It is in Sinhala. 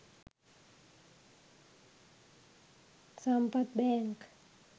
sampath bank